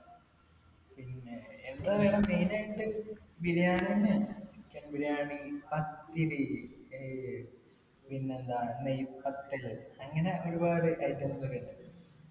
എന്തായാലും main ആയിട്ട് ബിരിയാണി തന്നെയാണ് chicken ബിരിയാണി ഏർ പിന്നെന്താണ് നെയ്പ്പത്തിൽ അങ്ങനെ ഒരുപാട് items ഒക്കെ ഇണ്ട്